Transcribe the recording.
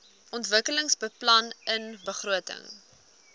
ontwikkelingsbeplanningbegrotings